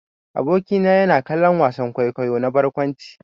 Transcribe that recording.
Aboki na yana kallon wasan kwaikwayo na barkwanci.